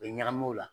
U bɛ ɲagami o la